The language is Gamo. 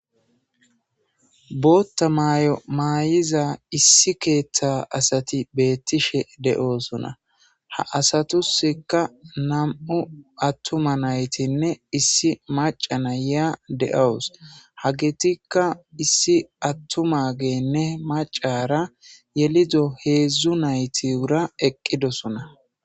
Booththa maayo maayiza issi keeththa asati beetishe de7oosona . Ha asatusikka nam7u atuma naytinne issi macca nayiya de7awus. Hagetikka issi atumaagenne maccara yelido heezzu naytura eqidosona.